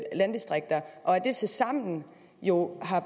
landdistrikter og at det tilsammen jo har